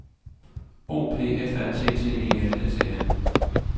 O P F A T T E L S E N